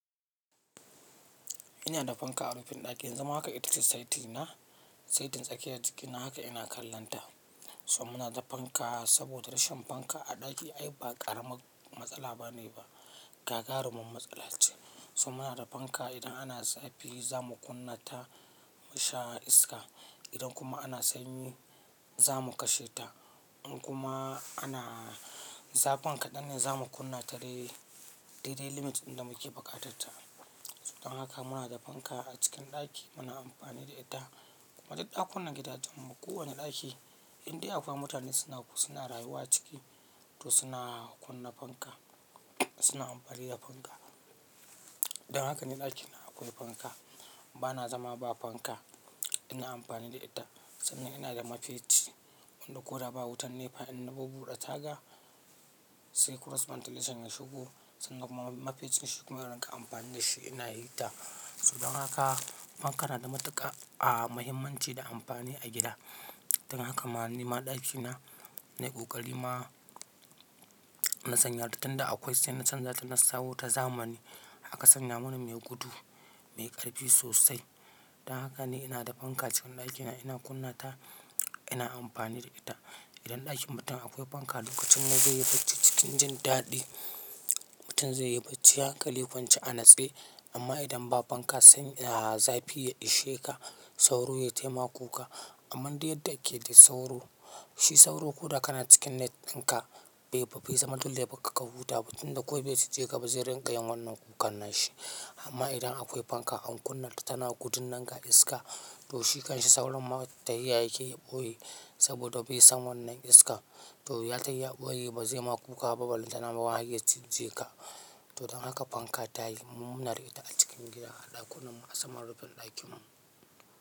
Ina da fanka a rufin ɗakina, yanzu ma haka ita ce saiti na, saitin tsakiyar jikina haka ina kallonta. So muna da fanka saboda rashin fanka a ɗaki ai ba ƙaramin matsala ba ne ba, gagarumin matsala ce. So muna da fanka, idan ana zafi za mu kunna ta, musha iska, idan kuma ana sanyi za mu kashe ta. In kuma ana zafin kaɗan ne za mu kunna ta dai, dai dai limit in da muke buƙatar ta. Don haka muna da fanka a cikin ɗaki muna amfani da ita. Kuma duk ɗakunan gidajen mu, kowane ɗaki indai akwai mutane suna rayuwa ciki, to suna kunna fanka, suna amfani da fanka. Don haka ni ɗakina akwai fanka, ba na zama ba fanka. Ina amfani da ita, sannan ina da mafeci wanda ko da ba wutan nefa in na bubbuɗe taga, sai cross ventilation ya shigo, sannan kuma mafeccin shikuma in riƙa amfani da shi ina hihita, so don haka fanka na da matuƙa, a, mahimmanci da amfani a gida. Don haka ma nima ɗakina, na yi ƙoƙari ma na sanya ta, tun da, akwai sai na canja ta na sawo ta zamani. Aka sanya mana mai gudu, mai ƙarfi sosai. Don haka ni ina da fanka cikin ɗakina ina kunna ta, ina amfani da ita. Idan ɗakin mutum akwai fanka, lokacin ne zai yi bacci cikin jin daɗi, mutum zai yi bacci hankali kwance a natse. Amma idan ba fanka sanyi, a, zafi ya ishe ka, sauro ya taimaka kuka. Amman du yadda ake da sauro, shi sauro ko da kana cikin net ɗinka bai, bai zama lalle ya bakka ka huta ba. Tinda ko bai cije ka ba zai rinƙa yin wannan kukan na shi. Amma idan akwai fanka an kunna ta tana gudun nan, ga iska, to shi kanshi sauron ma tahiya yake ya ɓoye, saboda bai san wannan iska. To ya tai ya ɓoye, ba zai ma kuka ba balantana ma wai haiya cije ka. To don haka fanka tayi, mu muna da ita a cikin gida, a ɗakunan mu, a saman rufin ɗakin mu.